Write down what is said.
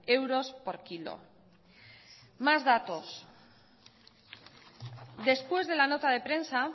euros por kilo más datos después de la nota de prensa